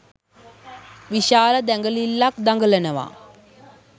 විශාල දැඟලිල්ලක් දඟලනවා